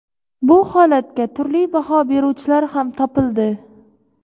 Bu holatga turli baho beruvchilar ham topildi.